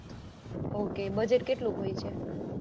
ok budget કેટલું હોય છે?